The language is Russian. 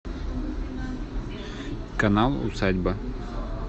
канал усадьба